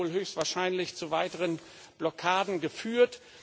Das hätte wohl höchstwahrscheinlich zu weiteren Blockaden geführt.